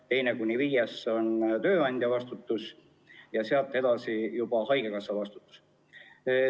Teine kuni viies päev on tööandja vastutus ja sealt edasi vastutab juba haigekassa.